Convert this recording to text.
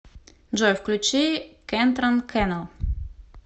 джой включи кентрон кэнэл